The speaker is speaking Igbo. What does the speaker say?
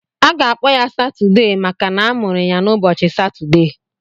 Aga-akpọ ya Satudee maka na amụrụ ya n'ụbọchị Satudee.